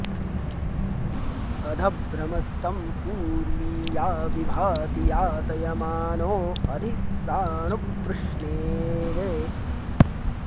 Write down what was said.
अध॑ भ्र॒मस्त॑ उर्वि॒या वि भा॑ति या॒तय॑मानो॒ अधि॒ सानु॒ पृश्नेः॑